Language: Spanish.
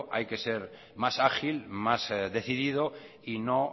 hay que ser más ágil más decidido y no